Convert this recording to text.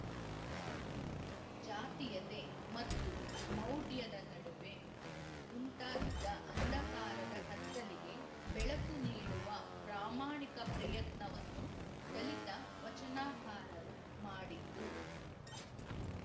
ಜಾತೀಯತೆ ಮತ್ತು ಮೌಢ್ಯದ ನಡುವೆ ಉಂಟಾಗಿದ್ದ ಅಂಧಕಾರದ ಕತ್ತಲಿಗೆ ಬೆಳಕು ನೀಡುವ ಪ್ರಾಮಾಣಿಕ ಪ್ರಯತ್ನವನ್ನು ದಲಿತ ವಚನಾಕಾರರು ಮಾಡಿದ್ದು